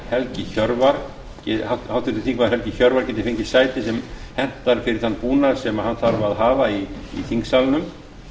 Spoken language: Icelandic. helgi hjörvar geti fengið sæti sem hentar fyrir þann búnað sem hann þarf að hafa í þingsalnum